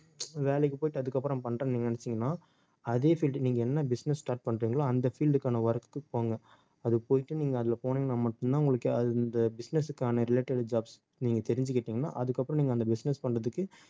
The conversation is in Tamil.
வேலைக்கு போயிட்டு அதுக்கப்புறம் பண்றேன்னு நீங்க நினைச்சீங்கன்னா அதே field நீங்க என்ன business start பண்றீங்களோ அந்த field க்கான work க்கு போங்க அது போயிட்டு நீங்க அதுல போனீங்கன்னா மட்டும்தான் உங்களுக்கு அந்த business க்கான related jobs நீங்க தெரிஞ்சுக்கிட்டீங்கன்னா அதுக்கப்புறம் நீங்க அந்த business பண்றதுக்கு